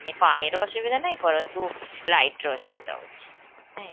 ପାଣିର ଅସୁବିଧା ନାହିଁ ପରନ୍ତୁ light ର ଅସୁବିଧା ଅଛି ନାଇଁ?